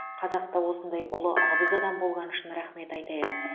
қазақта осындай ұлы абыз адам болғаны үшін рахмет айтайық